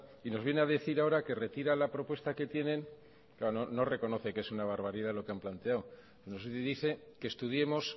y nos viene a decir ahora que retira la propuesta que tienen claro no reconoce que es una barbaridad lo que han planteado nos dice que estudiemos